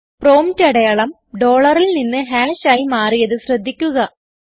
prompt അടയാളം DOLLARൽ നിന്ന് ഹാഷ് ആയി മാറിയത് ശ്രദ്ധിക്കുക